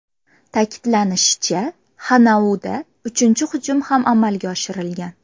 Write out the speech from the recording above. Ta’kidlanishicha, Xanauda uchinchi hujum ham amalga oshirilgan.